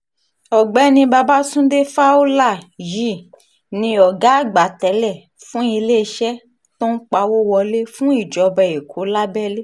ọ̀gbẹ́ni babàtúndé fowler yìí ní ọ̀gá àgbà tẹ́lẹ̀ fún iléeṣẹ́ tó ń pawọ́ wọlé fún ìjọba èkó lábẹ́lé